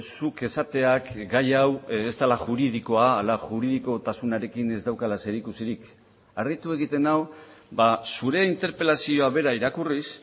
zuk esateak gai hau ez dela juridikoa ala juridikotasunarekin ez daukala zerikusirik harritu egiten nau zure interpelazioa bera irakurriz